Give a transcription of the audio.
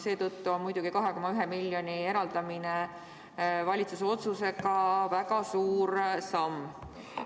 Seetõttu on 2,1 miljoni eraldamine valitsuse otsusega muidugi väga suur samm.